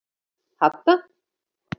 Hadda